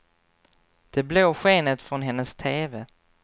Det blå skenet från hennes teve.